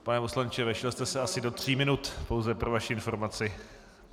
Pane poslanče, vešel jste se asi do tří minut, pouze pro vaši informaci.